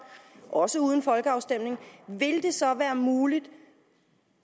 også uden folkeafstemning vil det så være muligt